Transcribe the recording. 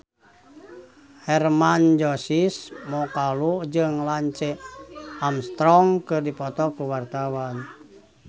Hermann Josis Mokalu jeung Lance Armstrong keur dipoto ku wartawan